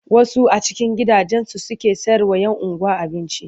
Wasu a cikin gidajensu suke sayarwa 'yan unguwa abinci.